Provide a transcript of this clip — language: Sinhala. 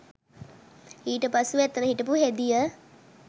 ඊට පසුව එතන හිටපු හෙදිය